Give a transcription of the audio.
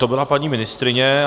To byla paní ministryně.